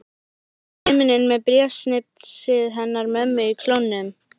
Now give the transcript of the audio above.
Út í himininn með bréfsnifsið hennar mömmu í klónum.